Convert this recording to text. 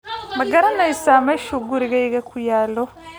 Ma garanaysaa meesha gurigaygu ku yaal?